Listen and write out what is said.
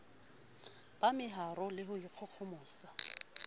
ba meharo le ho ikgohomosa